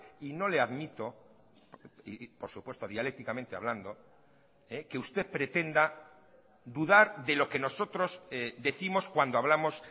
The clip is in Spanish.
y no le admito y por supuesto dialécticamente hablando que usted pretenda dudar de lo que nosotros décimos cuando hablamos